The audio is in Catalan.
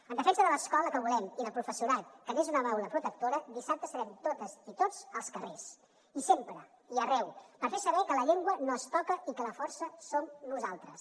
en defensa de l’escola que volem i del professorat que n’és una baula protectora dissabte serem totes i tots als carrers i sempre i arreu per fer saber que la llengua no es toca i que la força som nosaltres